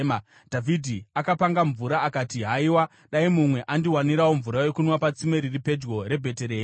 Dhavhidhi akapanga mvura akati, “Haiwa, dai mumwe andiwanirawo mvura yokunwa patsime riri pedyo reBheterehema!”